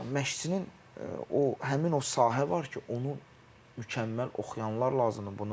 Yəni məşqçinin o həmin o sahə var ki, onu mükəmməl oxuyanlar lazımdır.